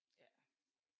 Ja